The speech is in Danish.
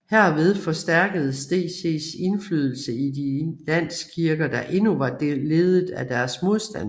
Herved forstærkedes DCs indflydelse i de landskirker der endnu var ledet af deres modstandere